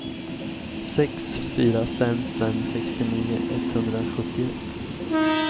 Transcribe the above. sex fyra fem fem sextionio etthundrasjuttioett